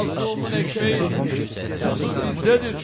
Məzlumun ekmeği, tuzu bizdədir.